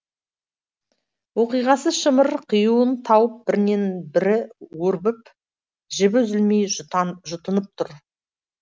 оқиғасы шымыр қиюын тауып бірінен бірі өрбіп жібі үзілмей жұтынып тұр